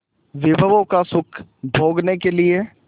विभवों का सुख भोगने के लिए